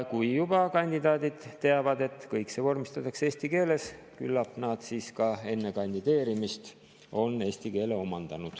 Kui aga kandidaadid teavad, et kõik see vormistatakse eesti keeles, küllap nad siis enne kandideerimist eesti keele ka omandavad.